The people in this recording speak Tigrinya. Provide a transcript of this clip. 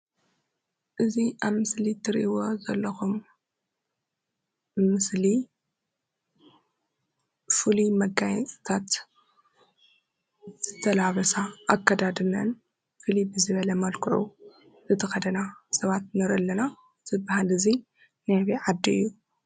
እዚ ኣብ ምስሊ እትሪእይዎ ዘለኩም ምስሊ ፍሉይ መጋየፂታት ዝተላበሳ ኣከዳድነአን ፍልይ ብዝበለ መልክዑ ዝተከደና ሰባት ንሪኢ ኣለና። እዚ ባህሊ እዙይ ናይ ኣበይ ዓዲ እዩ?